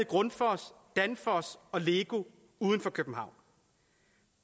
grundfos danfoss og lego uden for københavn